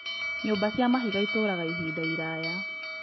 Nyũmba cia mahiga itũũraga ihinda iraya.